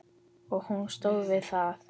Og hún stóð við það.